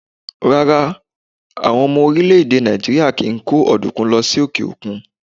Rárá, àwọn ọmọ orílẹ̀-èdè Nàìjíríà kì í kó ọ̀dùnkún lọ sí òkè òkun.